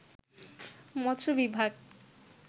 মৎস্য বিভাগ